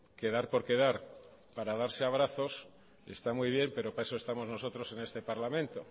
quedar por quedar para darse abrazos está muy bien pero para eso estamos nosotros en este parlamento